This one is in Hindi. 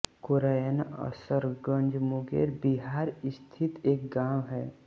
कोरैन असरगंज मुंगेर बिहार स्थित एक गाँव है